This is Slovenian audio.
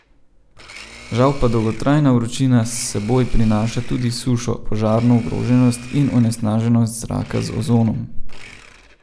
Žal pa dolgotrajna vročina s seboj prinaša tudi sušo, požarno ogroženost in onesnaženost zraka z ozonom.